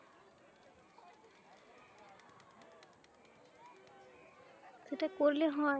সেটা করলে হয়